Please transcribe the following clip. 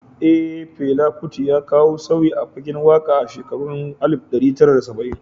Eh, Fela Kuti ya kawo sauyi a fagen waka a shekarun 1970.